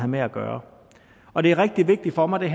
med at gøre og det er rigtig vigtigt for mig at